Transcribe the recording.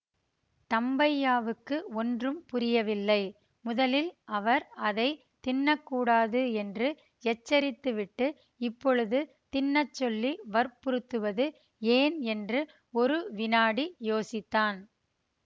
தம்பையாவுக்கு ஒன்றும் புரியவில்லை முதலில் அவர் அதை தின்னக்கூடாது என்று எச்சரித்துவிட்டு இப்பொழுது தின்னச் சொல்லி வற்புறுத்துவது ஏன் என்று ஒரு வினாடி யோசித்தான்